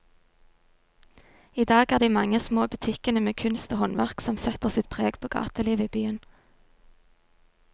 I dag er det de mange små butikkene med kunst og håndverk som setter sitt preg på gatelivet i byen.